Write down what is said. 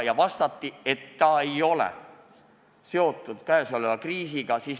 Talle vastati, et see ei ole seotud käesoleva kriisiga.